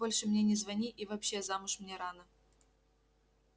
больше мне не звони и вообще замуж мне рано